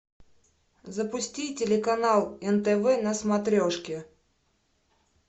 запусти телеканал нтв на смотрешке